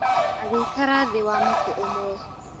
Agĩikara thĩ wa mũtĩ ũmwe.